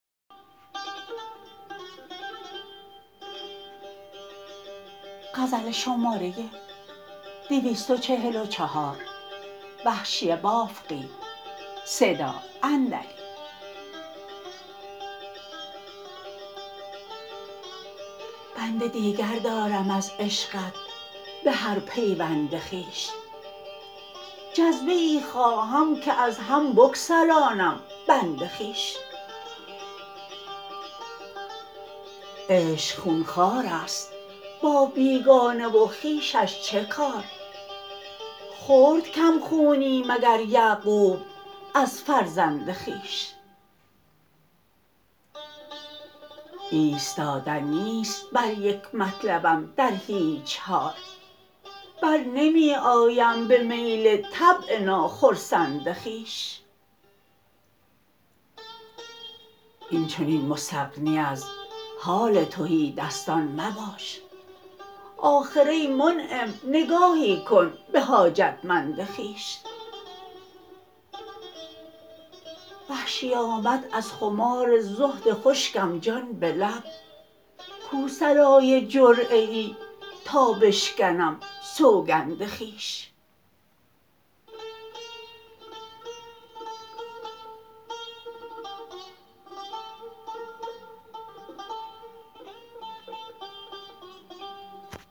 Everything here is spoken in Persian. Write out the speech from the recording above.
بند دیگر دارم از عشقت به هر پیوند خویش جذبه ای خواهم که از هم بگسلانم بند خویش عشق خونخوار است با بیگانه و خویشش چه کار خورد کم خونی مگر یعقوب از فرزند خویش ایستادن نیست بر یک مطلبم در هیچ حال بر نمی آیم به میل طبع ناخرسند خویش اینچنین مستغنی از حال تهی دستان مباش آخر ای منعم نگاهی کن به حاجتمند خویش وحشی آمد از خمار زهد خشکم جان به لب کو صلای جرعه ای تا بشکنم سوگند خویش